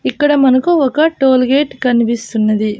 ఇక్కడ మనకు ఒక టోల్గేట్ కనిపిస్తున్నది.